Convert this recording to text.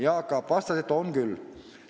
Jaak Aab vastas, et on küll.